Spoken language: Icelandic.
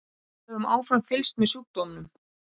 Við höfum áfram fylgst með sjúkdómnum.